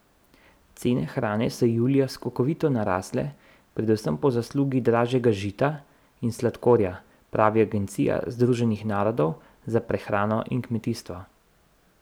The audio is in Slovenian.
Cene hrane so julija skokovito narasle, predvsem po zaslugi dražjega žita in sladkorja, pravi agencija Združenih narodov za prehrano in kmetijstvo.